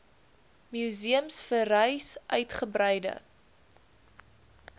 museums vereis uitgebreide